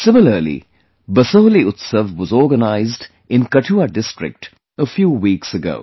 Similarly, 'BasohliUtsav' was organized in Kathua district a few weeks ago